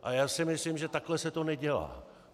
A já si myslím, že takhle se to nedělá.